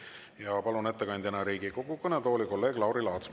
Ja palun ettekandjana Riigikogu kõnetooli kolleeg Lauri Laatsi.